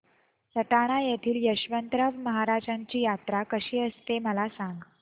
सटाणा येथील यशवंतराव महाराजांची यात्रा कशी असते मला सांग